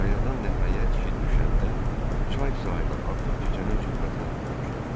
Qayadan nəhayət ki düşəndə çay sahili artıq gecənin zülmətinə bürünmüşdü.